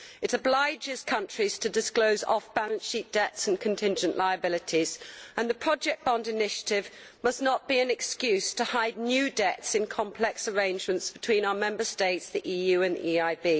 It obliges countries to disclose off balance sheet debts and contingent liabilities, and the project bond initiative must not be an excuse to hide new debts in complex arrangements between our Member States, the EU and the EIB.